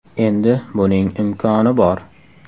Endi buning imkoni bor!